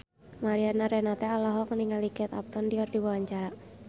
Mariana Renata olohok ningali Kate Upton keur diwawancara